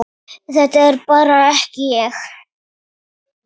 Þetta var bara ekki ég.